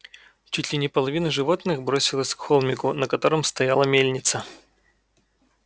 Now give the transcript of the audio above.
чуть ли не половина животных бросилась к холмику на котором стояла мельница